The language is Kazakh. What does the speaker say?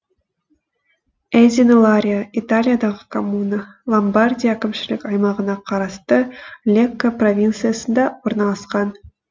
эзино ларио италиядағы коммуна ломбардия әкімшілік аймағына қарасты лекко провинциясында орналасқан